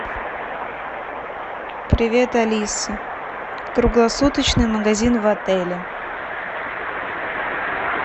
привет алиса круглосуточный магазин в отеле